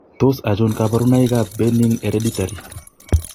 Tos achon kabarunaik ab Benign hereditary?